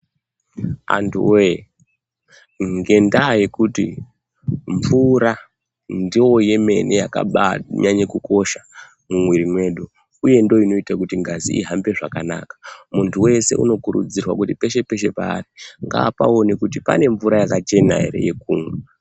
Antuwoye ngendaa yekuti mvura ndoo yemene yakabanyanya kukosha mumwiri mwedu uye ndiyo inoite kuti ngazi ihambe zvakanaka muntu wese anokurudzirwa kuti peshe peshe paari ngaapaone kuti pane mvura yakachena ere yekumwa.